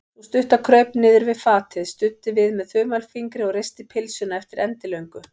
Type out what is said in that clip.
Sú stutta kraup niður við fatið, studdi við með þumalfingri og risti pylsuna eftir endilöngu.